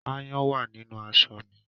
Áayán wá nínú aṣọ mi